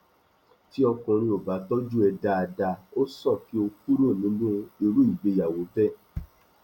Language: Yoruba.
tí ọkùnrin ò bá tọjú ẹ dáadáa ó sàn kí ó kúrò nínú irú ìgbéyàwó bẹẹ